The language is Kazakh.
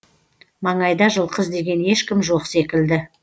маңайда жылқы іздеген ешкім жоқ секілді